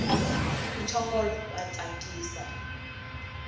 muchongolo wa tsakisa